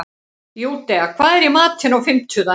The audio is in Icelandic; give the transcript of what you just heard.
Júdea, hvað er í matinn á fimmtudaginn?